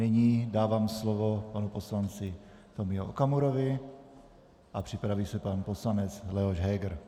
Nyní dávám slovo panu poslanci Tomio Okamurovi a připraví se pan poslanec Leoš Heger.